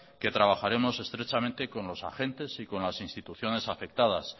que trabajaremos estrechamente con los agentes y con las instituciones afectadas